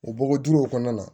O bɔgɔ duw kɔnɔna na